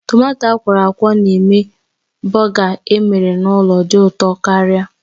Tomato akwọrọakwọ na-eme bọgar emere n'ụlọ dị ụtọ karịa